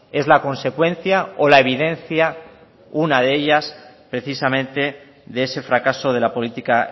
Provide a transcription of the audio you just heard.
es la consecuencia o la evidencia una de ellas precisamente de ese fracaso de la política